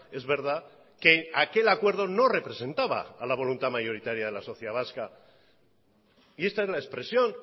es verdad que aquel acuerdo no representaba a la voluntad mayoritaria de la sociedad vasca y esta es la expresión